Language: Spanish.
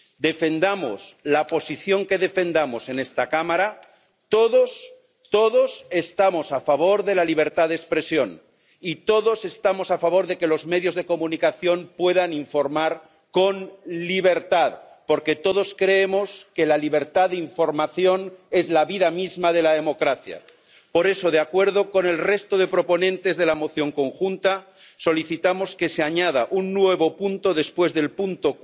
Defendamos la posición que defendamos en esta Cámara, todos —todos— estamos a favor de la libertad de expresión, y todos estamos a favor de que los medios de comunicación puedan informar con libertad, porque todos creemos que la libertad de información es la vida misma de la democracia. Por eso, de acuerdo con el resto de proponentes de la Resolución común solicitamos que se añada un nuevo apartado después del apartado